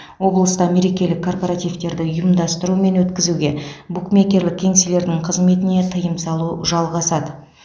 облыста мерекелік корпоративтерді ұйымдастыру мен өткізуге букмекерлік кеңселердің қызметіне тыйым салу жалғасады